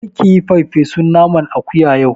Kar kiyi farfesun naman akuya yau!